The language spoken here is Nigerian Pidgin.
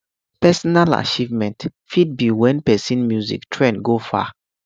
personal achievement fit be when person music trend go far